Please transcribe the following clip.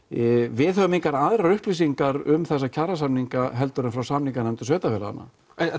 við höfum engar aðrar upplýsingar um þessa kjarasamninga heldur en frá samninganefndum sveitarfélaganna